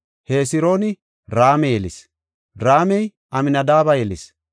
Hesrooni Raame yelis; Raamey Amnadaabe yelis;